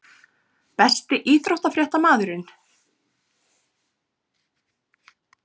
Besti íþróttafréttamaðurinn??